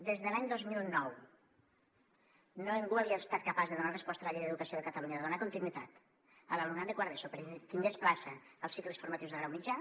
des de l’any dos mil nou ningú havia estat capaç de donar resposta a la llei d’educació de catalunya de donar continuïtat a l’alumnat de quart d’eso perquè tingués plaça als cicles formatius de grau mitjà